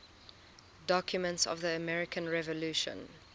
documents of the american revolution